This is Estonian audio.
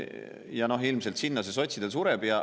Ja noh, ilmselt sinna see sotsidel sureb.